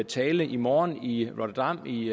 tale i morgen i rotterdam i